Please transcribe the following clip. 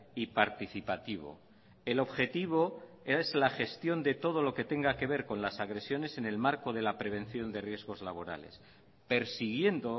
y participativo el objetivo es la gestión de todo lo que tenga que ver con las agresiones en el marco de la prevención de riesgos laborales persiguiendo